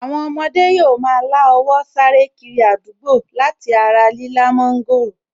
Àwọn ọmọdé yóò ma lá owó sáré kiri àdúgbò láti ara lílá mọ́ńgòrò